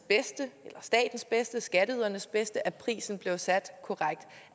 eller statens bedste skatteydernes bedste at prisen blev sat korrekt